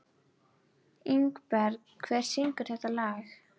Ingberg, hver syngur þetta lag?